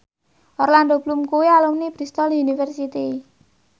Orlando Bloom kuwi alumni Bristol university